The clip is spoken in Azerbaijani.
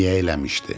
Niyə eləmişdi?